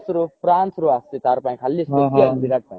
france ରୁ france ରୁ ଆସୁଛି ତାରପାଇଁ ଖାଲି special ବିରାଟ ପାଇଁ